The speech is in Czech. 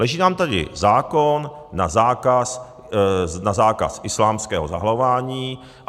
Leží nám tady zákon na zákaz islámského zahalování.